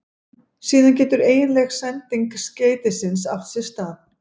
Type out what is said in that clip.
Síðan getur eiginleg sending skeytisins átt sér stað.